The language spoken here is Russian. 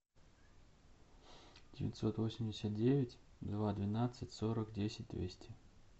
девятьсот восемьдесят девять два двенадцать сорок десять двести